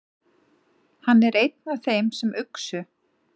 Hann er einn af þeim sem uxu.